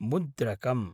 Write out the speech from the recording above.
मुद्रकम्